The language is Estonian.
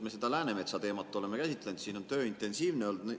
Me seda Läänemetsa teemat oleme käsitlenud, siin on töö intensiivne olnud.